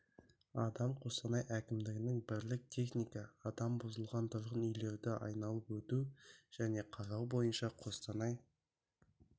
адам қостанай әкімдігінің бірлік техника адам бұзылған тұрғын үйлерді айналап өту және қарау бойынша қостанай